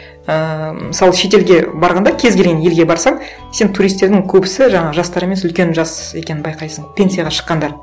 ііі мысалы шетелге барғанда кез келген елге барсаң сен туристтердің көбісі жаңағы жастар емес үлкен жас екенін байқайсың пенсияға шыққандар